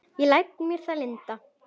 Ég læt mér það lynda.